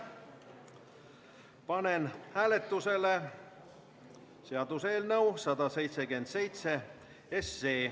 Panen hääletusele seaduseelnõu 177.